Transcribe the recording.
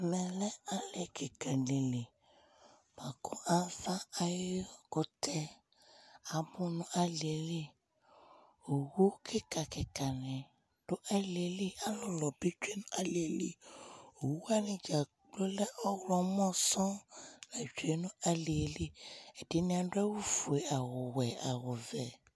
Ɛmɛlɛ ali kìka ɖi li Avakʋtɛ abu ŋu alieli Owu kìka kìka ŋi ɖu alieli Alulu bi tsʋe ŋu alieli Ɛɖìní aɖe awʋ fʋe, awʋ wɛ, awʋ vɛ